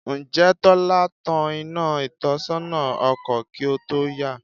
Ǹjẹ́ Tọ́lá tan iná ìtọ́sọ́nà ọkọ̀ kí ó tó yà?